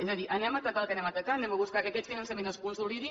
és a dir anem a atacar el que anem a atacar anem a buscar que aquest finançament es consolidi